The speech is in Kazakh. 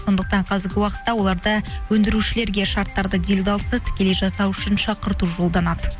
сондықтан қазіргі уақытта оларда өндірушілерге шарттарды делдалсыз тікелей жасау үшін шақырту жолданады